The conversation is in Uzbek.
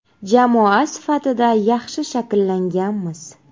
Jamoa sifatida yaxshi shakllanganmiz.